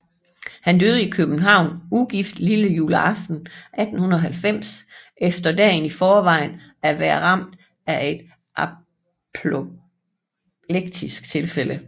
Han døde i København ugift lillejuleaften 1890 efter dagen i forvejen at være ramt af et apoplektisk tilfælde